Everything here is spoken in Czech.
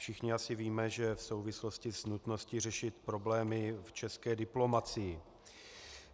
Všichni asi víme, že v souvislosti s nutností řešit problémy v české diplomacii.